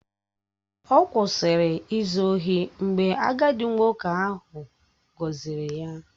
Ọ kwụsịrị izu ohi mgbe agadi nwoke ahụ gọzịrị ya